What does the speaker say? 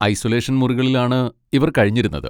Isolation മുറികളിലാണ് ഇവർ കഴിഞ്ഞിരുന്നത്.